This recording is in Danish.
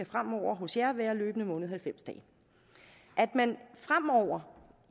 fremover være løbende måned plus halvfems dage at man fremover